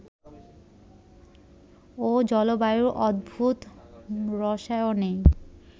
ও জলবায়ুর অদ্ভুত রসায়নেই